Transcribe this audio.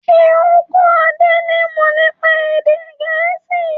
Ṣé o n kọ Adé ni imọ nípa èdè gẹ̀ẹ́sì?